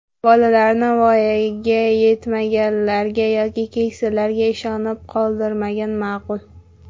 Bolalarni voyaga yetmaganlarga yoki keksalarga ishonib qoldirmagan ma’qul.